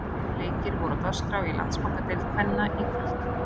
Tveir leikir voru á dagskrá í Landsbankadeild kvenna í kvöld.